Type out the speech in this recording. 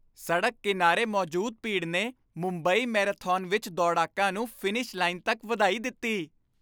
ਸੜਕ ਕਿਨਾਰੇ ਮੌਜੂਦ ਭੀੜ ਨੇ ਮੁੰਬਈ ਮੈਰਾਥਨ ਵਿੱਚ ਦੌੜਾਕਾਂ ਨੂੰ ਫਿਨਿਸ਼ ਲਾਈਨ ਤੱਕ ਵਧਾਈ ਦਿੱਤੀ।